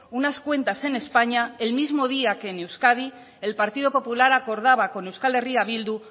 unas cuentas en españa el mismo día que en euskadi el partido popular acordaba con euskal herria bildu